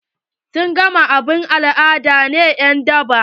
Sun gama abun al'ada na en daba?